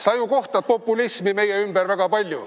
Sa ju näed populismi meie ümber väga palju.